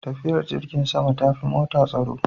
Tafiyar jirgin sama tafi ta mota tsaro.